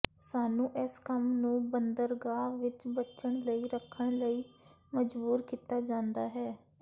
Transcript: ਸਾਨੂੰ ਇਸ ਕੰਮ ਨੂੰ ਬੰਦਰਗਾਹ ਵਿੱਚ ਬਚਣ ਲਈ ਰੱਖਣ ਲਈ ਮਜਬੂਰ ਕੀਤਾ ਜਾਂਦਾ ਹੈ